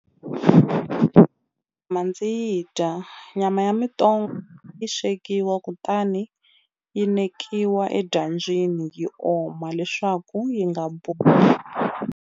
ndzi yi dya nyama ya yi swekiwa kutani yi nekiwa edyambyini yi oma leswaku yi nga .